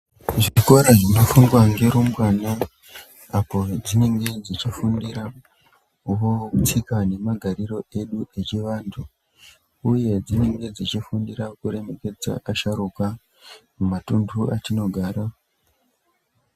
Zvikora zvinofundwa ngerumbwana apo zvinenge zvichifundira wo tsika nemagariro edu evantu uye dzinenge dzichifundira kurekedza vasharuka mumatundu artinogara umu.